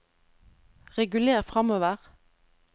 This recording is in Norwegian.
reguler framover